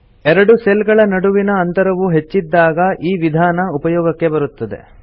ಎರಡು ಸೆಲ್ ಗಳ ನಡುವಿನ ಅಂತರವು ಹೆಚ್ಚಿದ್ದಾಗ ಈ ವಿಧಾನ ಉಪಯೋಗಕ್ಕೆ ಬರುತ್ತದೆ